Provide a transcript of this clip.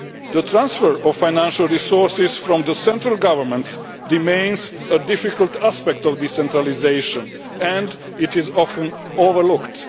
The transfer of financial resources from central governments remains a difficult aspect of decentralisation, and it is often overlooked.